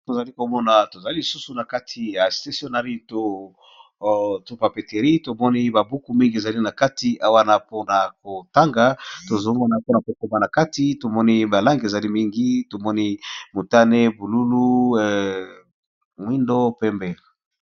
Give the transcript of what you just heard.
Tozali komona eza nakati ya papeterie tomoni babuku ebele penza namoni eza na balangi mingi ya motane ya bozinga pe pembe